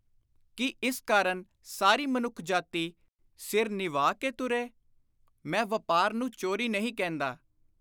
ਕੀ ਇਸ ਕਾਰਨ ਸਾਰੀ ਮਨੁੱਖ ਜਾਤੀ ਸਿਰ ਨਿਵਾ ਕੇ ਤੁਰੇ ? ਮੈਂ ਵਾਪਾਰ ਨੂੰ ‘ਚੋਰੀ’ ਨਹੀਂ ਕਹਿੰਦਾ।